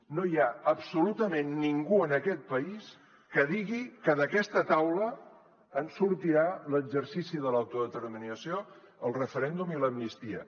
no hi ha absolutament ningú en aquest país que digui que d’aquesta taula en sortirà l’exercici de l’autodeterminació el referèndum i l’amnistia